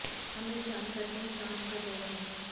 हम इस जानकारी की जांच कर रहे हैं